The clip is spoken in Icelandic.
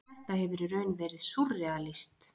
Þetta hefur í raun verið„ súrrealískt“.